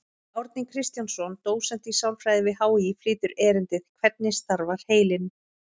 Árni Kristjánsson, dósent í sálfræði við HÍ, flytur erindið: Hvernig starfar heilinn?